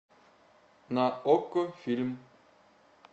на окко фильм